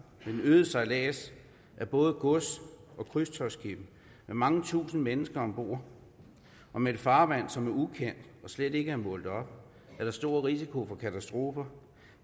den øgede sejlads med både gods og krydstogtskibe med mange tusinde mennesker om bord og med et farvand som er ukendt og slet ikke målt op er der stor risiko for katastrofer